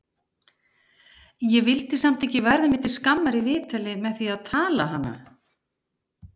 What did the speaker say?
Ég vildi samt ekki verða mér til skammar í viðtali með því að tala hana!